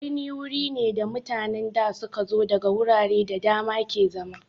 Birni wuri ne da mutanen da su ka zo daga wurare da dama ke zama.